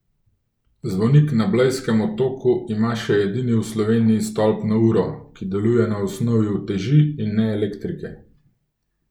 Zvonik na Blejskem otoku ima še edini v Sloveniji stolpno uro, ki deluje na osnovi uteži in ne elektrike.